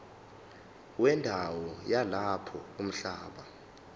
wendawo yalapho umhlaba